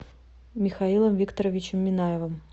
михаилом викторовичем минаевым